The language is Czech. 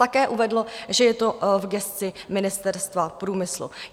Také uvedl, že je to v gesci Ministerstva průmyslu.